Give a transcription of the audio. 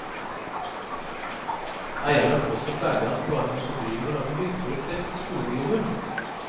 Eierne påstår freidig at de bare tar seg bryet med å lage hyggelige treff for skoleungdommen.